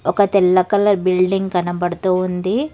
ఒక తెల్ల colour building కనబడుతూ ఉంది.